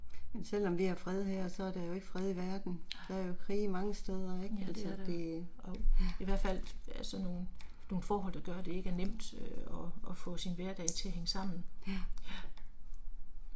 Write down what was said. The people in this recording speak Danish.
Nej, ja det er der, jo. I hvert fald sådan nogle nogle forhold der gør at det ikke er nemt øh at at få sin hverdag til at hænge sammen, ja